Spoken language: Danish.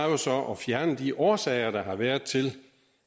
jo så at fjerne de årsager der har været til